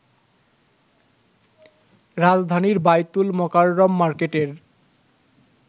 রাজধানীর বায়তুল মোকাররম মার্কেটের